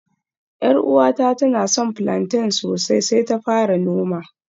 Yar uwata tana son plantain sosai sai ta fara noma